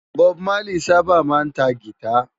Bòb Málí sãbá má ntá gìtá